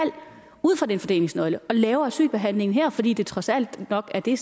ud fra den fordelingsnøgle og laver asylbehandlingen her fordi det trods alt nok er det